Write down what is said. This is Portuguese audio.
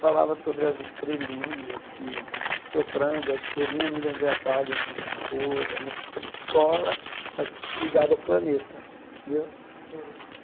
falava sobre as estrelinhas que, soprando, a estrelinha, não me lembrei, apaga o giz de cor, uma coisa sobre escola, mas ligado ao planeta, tendeu? Sei